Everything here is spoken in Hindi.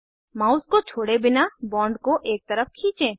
माउस को छोड़े बिना बॉन्ड को एक तरफ खींचें